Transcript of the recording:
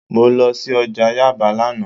Mo lọ sí ọjà Yaba lánàá